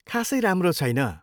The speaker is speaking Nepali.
खासै राम्रो छैन।